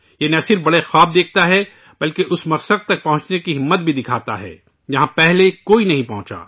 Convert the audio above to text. وہ نہ صرف بڑے خواب دیکھتا ہے بلکہ اس مقصد تک پہنچنے کی ہمت بھی دکھاتا ہے، جہاں پہلے کوئی نہیں پہنچا